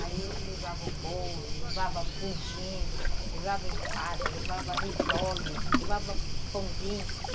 Aí eu levava o bolo, levava pudim, levava empada, levava risole, levava pãozinho.